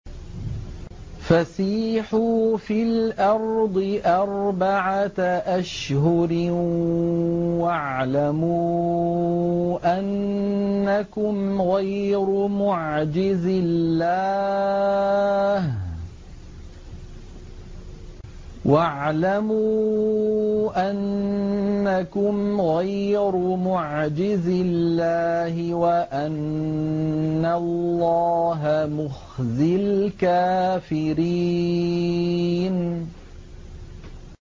فَسِيحُوا فِي الْأَرْضِ أَرْبَعَةَ أَشْهُرٍ وَاعْلَمُوا أَنَّكُمْ غَيْرُ مُعْجِزِي اللَّهِ ۙ وَأَنَّ اللَّهَ مُخْزِي الْكَافِرِينَ